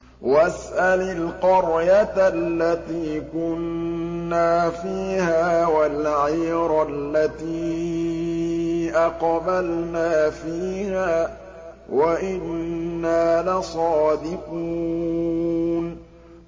وَاسْأَلِ الْقَرْيَةَ الَّتِي كُنَّا فِيهَا وَالْعِيرَ الَّتِي أَقْبَلْنَا فِيهَا ۖ وَإِنَّا لَصَادِقُونَ